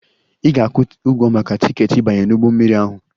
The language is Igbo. Ị ga-akwụ ụgwọ maka tiketi ịbanye n'ụgbọ mmiri ahụ!